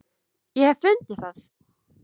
Ég hef fundið það!